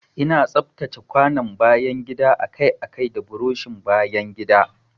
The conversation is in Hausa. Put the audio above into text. Ina tsaftace kwanon bayan gida akai-akai da burushin bayan gida.